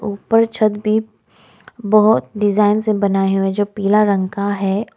ऊपर छत भी बहोत डिजाइन से बनाए हुए जो पीला रंग का है।